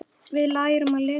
Við lærum að lesa.